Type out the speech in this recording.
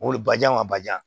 O le bajijan wa badijan